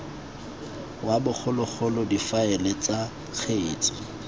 wa bogologolo difaele tsa kgetse